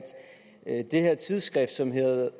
at det her tidsskrift som hedder the